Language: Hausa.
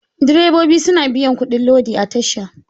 Direbobi su na biyan kuɗin lodi a tasha.